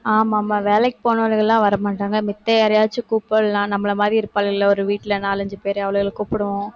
ஆமா, ஆமா, வேலைக்கு போனவங்க எல்லாம் வரமாட்டாங்க மித்த யாரையாவது கூப்பிடலாம் நம்மள மாதிரி இருப்பாளுகள்ல ஒரு வீட்டுல நாலு, அஞ்சு பேரு, அவளுகளை கூப்பிடுவோம்.